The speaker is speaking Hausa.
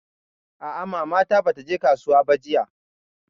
A'a mata ta bata je kasuwa ba jiya.